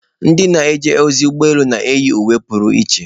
Ndị na-eje ozi ụgbọ elu na-eyi uwe pụrụ iche